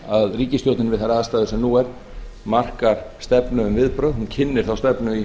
að ríkisstjórnin við þær aðstæður sem nú eru markar stefnu um viðbrögð hún kynnir þá stefnu í